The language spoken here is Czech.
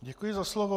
Děkuji za slovo.